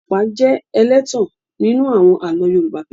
I apá jẹ́ ẹlẹ́tàn nínú àwọn àlọ́ Yorùbá.